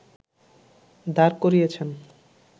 দাঁড় করিয়েছেন